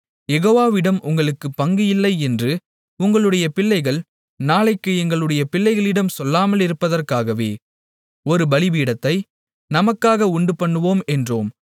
யெகோவாவிடம் உங்களுக்குப் பங்கு இல்லை என்று உங்களுடைய பிள்ளைகள் நாளைக்கு எங்களுடைய பிள்ளைகளிடம் சொல்லாமலிருப்பதற்காகவே ஒரு பலிபீடத்தை நமக்காக உண்டுபண்ணுவோம் என்றோம்